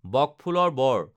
বক ফুলৰ বড়